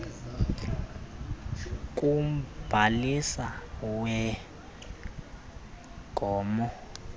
kumbhalisi wee gmo